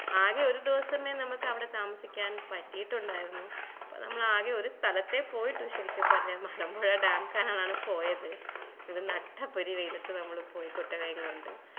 ആകെ ഒരു ദിവസമേ നമ്മക്ക് അവിടെ താമസിക്കാൻ പറ്റിട്ടുണ്ടായിരുന്നു അപ്പൊ നമ്മൾ ആകെ ഒരു സ്ഥലത്തേ പോയിട്ടു ശെരിക്ക് പറഞ്ഞ മലമ്പുഴ dam കാണാന് പോയത് നട്ടപ്പൊരി വെയിലത്തു നമ്മള് പോയി കുട്ടികളേം കൊണ്ട്